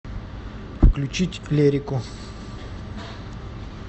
включить лерику